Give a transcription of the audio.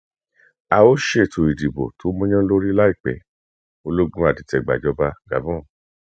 a ó ṣètò ìdìbò tó mọyánlórí láìpẹ ológun adìtẹgbàjọba gabon